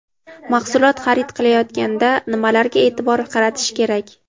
Mahsulot xarid qilayotganda nimalarga e’tibor qaratish kerak?.